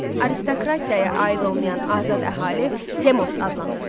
Aristokratiyaya aid olmayan azad əhali demos adlanırdı.